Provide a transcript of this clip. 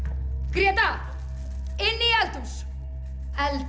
Gréta inn í eldhús